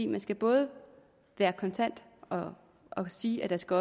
man skal både være kontant og og sige at der skal